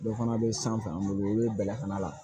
Dɔ fana bɛ sanfɛ an bolo u bɛ bɛlɛkana la